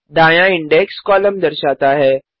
दायाँ index column दर्शाता है